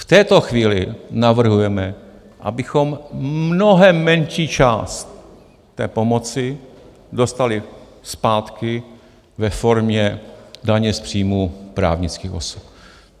V této chvíli navrhujeme, abychom mnohem menší část té pomoci dostali zpátky ve formě daně z příjmů právnických osob.